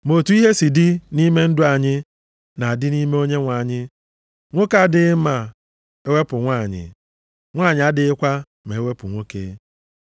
Ma otu ihe si dị nʼime ndụ anyị na-adị nʼime Onyenwe anyị, nwoke adịghị ma e wepụ nwanyị, nwanyị adịghịkwa ma e wepụ nwoke.